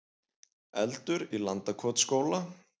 Eldur í Landakotsskóla